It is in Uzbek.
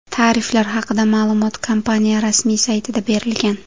Tariflar haqida ma’lumot kompaniya rasmiy saytida berilgan .